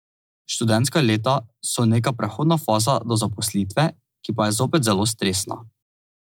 Študentska leta so neka prehodna faza do zaposlitve, ki pa je zopet zelo stresna.